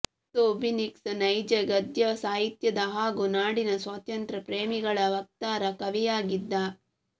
Kotsiubynsky ನೈಜ ಗದ್ಯಸಾಹಿತ್ಯದ ಹಾಗೂ ನಾಡಿನ ಸ್ವಾತಂತ್ರ್ಯ ಪ್ರೇಮಿಗಳ ವಕ್ತಾರ ಕವಿಯಾಗಿದ್ದ